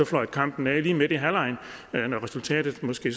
fløjte kampen af lige midt i halvlegen når resultatet måske